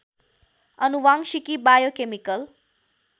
आनुवांशिकी biochemical